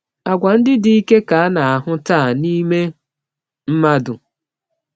Àgwà ndị dike ka a na-ahụ taa n’ime mmadụ.